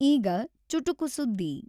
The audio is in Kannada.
ಈಗ ಚುಟುಕು ಸುದ್ದಿ <><><>